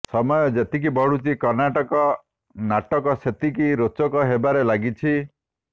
ସମୟ ଯେତିକି ବଢୁଛି କର୍ଣ୍ଣାଟକ ନାଟକ ସେତିକି ରୋଚକ ହେବାରେ ଲାଗିଛି